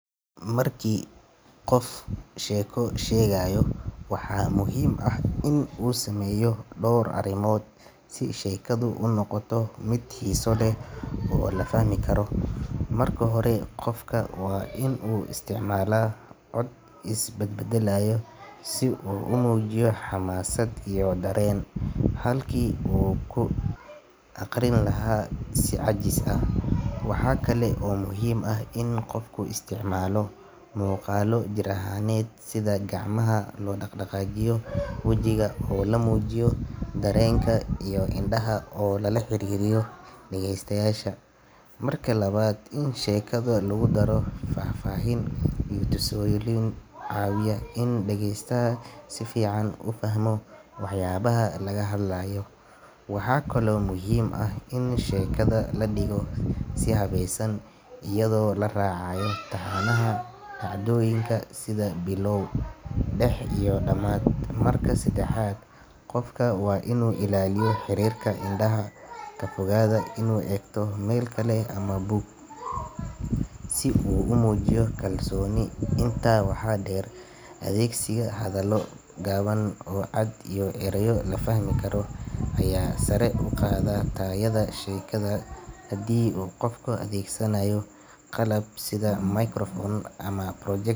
Marka qof uu sheeko sheegayo, waxaa muhiim ah in uu sameeyo dhowr arrimood si sheekadu u noqoto mid xiiso leh oo la fahmi karo. Marka hore, qofka waa inuu isticmaalaa cod is bedbedelaya si uu u muujiyo xamaasad iyo dareen, halkii uu ka akhrin lahaa si caajis ah. Waxa kale oo muhiim ah in qofku isticmaalo muuqaallo jir ahaaneed sida gacmaha oo la dhaqaajiyo, wajiga oo la muujiyo dareenka, iyo indhaha oo lala xiriiriyo dhageystayaasha. Marka labaad, in sheekada lagu daro faahfaahin iyo tusaalooyin ayaa caawiya in dhageystaha si fiican u fahmo waxyaabaha laga hadlayo. Waxaa kaloo muhiim ah in sheekada la dhigo si habaysan, iyadoo la raacayo taxanaha dhacdooyinka sida bilow, dhex iyo dhammaad. Marka saddexaad, qofka waa inuu ilaaliyo xiriirka indhaha, ka fogaadaa inuu eegto meel kale ama buug, si uu u muujiyo kalsooni. Intaa waxaa dheer, adeegsiga hadallo gaaban oo cad iyo erayo la fahmi karo ayaa sare u qaada tayada sheekada. Haddii uu qofka adeegsanayo qalab sida microphone ama project.